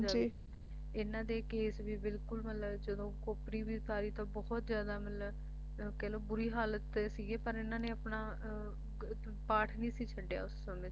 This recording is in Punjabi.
ਇਨ੍ਹਾਂ ਦੇ ਕੇਸ਼ ਵੀ ਬਿਲਕੁਲ ਮਤਲਬ ਜਦੋਂ ਖੋਪਰੀ ਵੀ ਉਤਾਰੀ ਤਾਂ ਬਹੁਤ ਜਿਆਦਾ ਮਤਲਬ ਕਹਿ ਲੋ ਬੁਰੀ ਹਾਲਤ ਸੀਗੀ ਪਰ ਇਨ੍ਹਾਂ ਨੇ ਆਪਣਾ ਅਹ ਪਾਠ ਨਹੀਂ ਸੀ ਛੱਡਿਆ ਉਸ ਸਮੇਂ ਤੇ